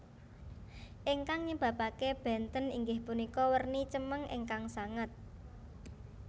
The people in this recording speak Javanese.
Ingkang nyebabake benten inggih punika werni cemeng ingkang sanget